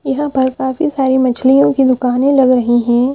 यहाँ पर काफी सारी मछलियों की दुकानें लग रही हैं।